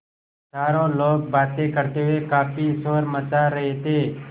चारों लोग बातें करते हुए काफ़ी शोर मचा रहे थे